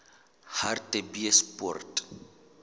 hartbeespoort